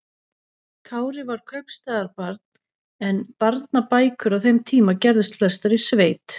Kári var kaupstaðarbarn en barnabækur á þeim tíma gerðust flestar í sveit.